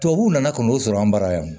Tubabuw nana ka n'o sɔrɔ an bara yan